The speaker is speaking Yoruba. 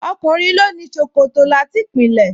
Ọkùnrin ló ní ṣòkòtò láti ìpìlẹ̀